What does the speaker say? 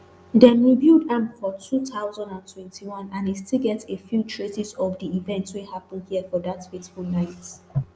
dem rebuild am for two thousand and twenty-one and e still get a few traces of di events wey happen here dat fateful night